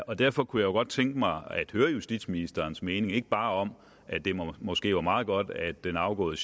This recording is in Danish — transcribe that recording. og derfor kunne jeg godt tænke mig at høre justitsministerens mening ikke bare om at det måske var meget godt at den afgåede